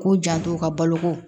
K'u janto u ka boloko